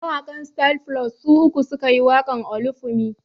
Mawaƙan Styl Plus su uku su ka yi waƙar "Olufunmi".